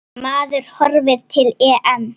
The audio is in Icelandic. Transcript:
Maður horfir til EM.